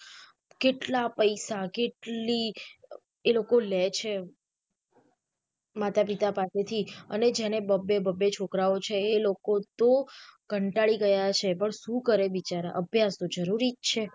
કેટલા પૈસા કેટલી અ એ લોકો લે છે માતા પિતા પાસે થી અને જેને બબે બબે છોકરાઓ છે એ લોકો કંટાળી ગયા છે પણ શું કરે બિચારા અભ્યાસ તો જરૂરી જ છે.